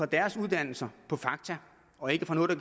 deres uddannelser på fakta og ikke på noget der